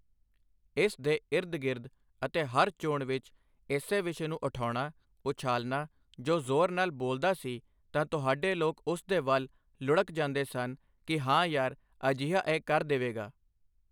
ਇਸ ਦੇ ਈਰਦ ਗਿਰਦ ਅਤੇ ਹਰ ਚੋਣ ਵਿੱਚ ਇਸੇ ਵਿਸ਼ੇ ਨੂੰ ਉਠਾਉਣਾ, ਉਛਾਲਨਾ ਜੋ ਜ਼ੋਰ ਨਾਲ ਬੋਲਦਾ ਸੀ ਤਾਂ ਤੁਹਾਡੇ ਲੋਕ ਉਸ ਦੇ ਵੱਲ਼ ਲੁੜ੍ਹਕ ਜਾਂਦੇ ਸਨ ਕਿ ਹਾਂ ਯਾਰ ਅਜਿਹਾ ਇਹ ਕਰ ਦੇਵੇਗਾ।